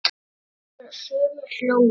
sagði einhver og sumir hlógu.